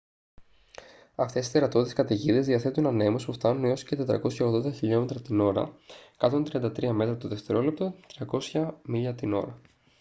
αυτές οι τερατώδεις καταιγίδες διαθέτουν ανέμους που φτάνουν έως και 480 km/h 133 m/s 300 mph